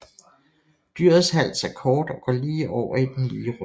Dyrets hals er kort og går lige over i den lige ryg